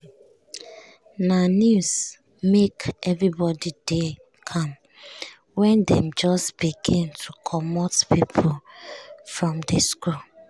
na news make um everybody dey calm wen dem just begin to comot pipo um from di school. um